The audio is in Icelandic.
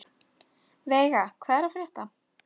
Veiga, hvað er að frétta?